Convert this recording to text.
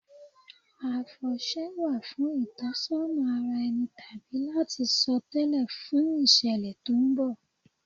Àfọ̀ṣẹ wà fún ìtọ́sọ́nà ara ẹni tàbí láti sọ tẹ́lẹ̀ fún ìṣẹ̀lẹ̀ tó ń bọ̀.